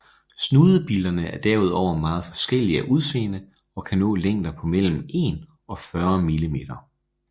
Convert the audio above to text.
Snudebillerne er derudover meget forskellige af udseende og kan nå længder på mellem 1 og 40 mm